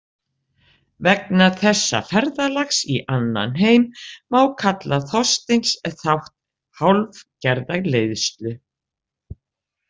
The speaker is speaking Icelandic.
Vegna þessa ferðalags í annan heim má kalla Þorsteins þátt hálfgerða leiðslu .